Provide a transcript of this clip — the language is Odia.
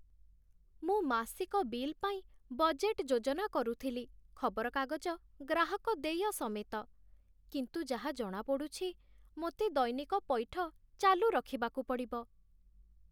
ମୁଁ ମାସିକ ବିଲ୍ ପାଇଁ ବଜେଟ୍ ଯୋଜନା କରୁଥିଲି, ଖବରକାଗଜ ଗ୍ରାହକଦେୟ ସମେତ, କିନ୍ତୁ ଯାହା ଜଣାପଡ଼ୁଛି, ମୋତେ ଦୈନିକ ପଇଠ ଚାଲୁ ରଖିବାକୁ ପଡ଼ିବ।